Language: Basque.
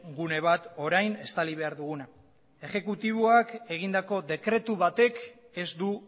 gune bat orain estali behar duguna ejekutiboak egindako dekretu batek ez du